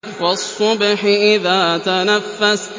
وَالصُّبْحِ إِذَا تَنَفَّسَ